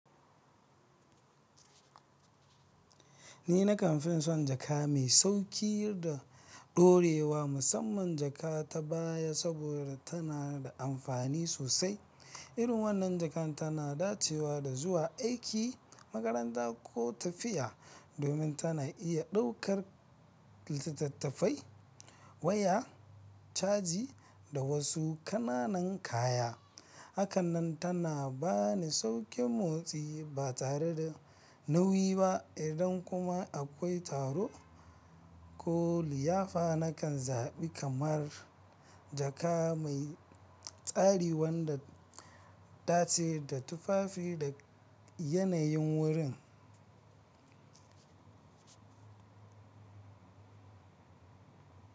Ni nakan fin son jaka mai sauƙi da ɗorewa, musamman jaka ta baya saboda tana da amfani sosai. Irin wannan jaka tana dacewa da zuwa aiki, makaranta ko tafiya domin tana iya ɗaukar littattafai, waya caji da wasu ƙananan kaya. Haka nan tana bani sauƙin motsi ba tare da nauyi ba. Idan kuma akwai taro ko liyafa, nakan zaɓi kamar jaka mai tsari wanda ɗace da tufafi da yanayin wurin.